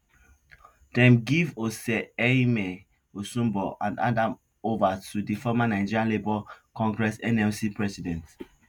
dem give oserheimen osunbor and hand am ova to di former nigeria labour congress nlc president